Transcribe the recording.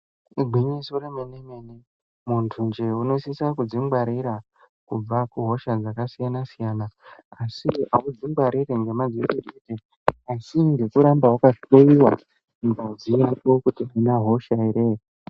Igwinyiso remene mene. Muntu njee unosisa kudzingwarira kubva kuhosha dzakasiyana siyana. Asi audzingwariri ngemadziso ega asi ngekuramba wakahloiwa ngazi yako kuti haina hosha here.